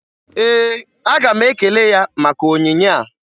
Ee, aga m ekele ya maka onyinye a